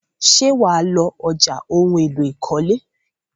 Ṣé wà á lọ ọjà ohun-èlò ìkọ́lé?